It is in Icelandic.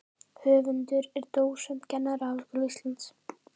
Höfundur er dósent við Kennaraháskóla Íslands.